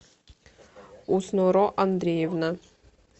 усноро андреевна